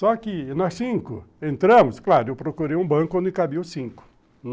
Só que nós cinco entramos, claro, eu procurei um banco onde cabiam os cinco.